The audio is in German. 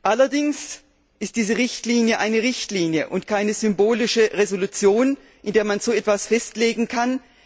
Allerdings ist diese Richtlinie eine Richtlinie und keine symbolische Entschließung, in der man so etwas festlegen kann.